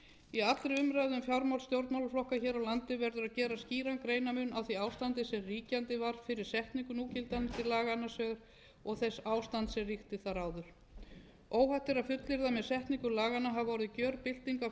í allri umræðu um fjármál stjórnmálaflokka hér á landi verður að gera skýran greinarmun á því ástandi sem ríkjandi var fyrir setningu núgildandi laga og þess ástands sem ríkti þar áður óhætt er að fullyrða með setningu laganna hafi orðið gjörbylting á fjármálalegri starfsumgjörð